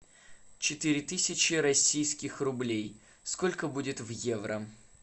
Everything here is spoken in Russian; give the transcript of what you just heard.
четыре тысячи российских рублей сколько будет в евро